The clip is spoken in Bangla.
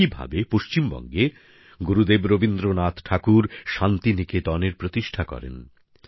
একইভাবে পশ্চিমবঙ্গে গুরুদেব রবীন্দ্রনাথ ঠাকুর শান্তিনিকেতনের প্রতিষ্ঠা করেন